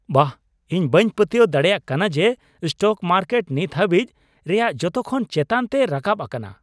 ᱵᱟᱦ, ᱤᱧ ᱵᱟᱹᱧ ᱯᱟᱹᱛᱭᱟᱹᱣ ᱫᱟᱲᱮᱭᱟᱜ ᱠᱟᱱᱟ ᱡᱮ ᱥᱴᱚᱠ ᱢᱟᱨᱠᱮᱴ ᱱᱤᱛ ᱦᱟᱹᱵᱤᱡ ᱨᱮᱭᱟᱜ ᱡᱚᱛᱚᱠᱷᱚᱱ ᱪᱮᱛᱟᱱ ᱛᱮ ᱨᱟᱠᱟᱵ ᱟᱠᱟᱱᱟ !